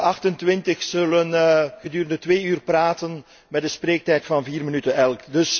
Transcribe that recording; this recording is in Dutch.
De 28 zullen gedurende twee uur praten met een spreektijd van 4 minuten elk.